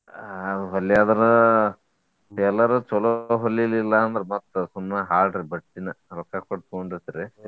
ಆಹ್ ಹೊಲ್ಯಾವ್ರ tailor ಚೊಲೋ ಹೊಲಿಲಿಲ್ಲಾ ಅಂದ್ರ ಮತ್ತ ಸುಮ್ನ ಹಾಳ್ರಿ ಬಟ್ಟಿನ ರೊಕ್ಕಾ ಕೊಟ್ಟ್ ತೊಗೊಂಡಿರ್ತೆರಿ.